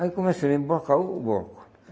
Aí começamos a emblocar o o bloco.